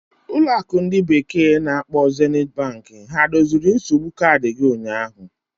ụlọ akụ ndi bekee na-akpo Zeniti Banki ha doziri nsogbu kaadị gị ụnyaahụ?